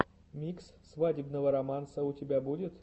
микс свадебного романса у тебя будет